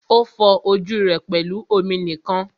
O fọ ojú rẹ pẹlú omi nìkan.